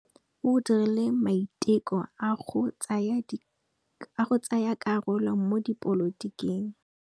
O dirile maitekô a go tsaya karolo mo dipolotiking.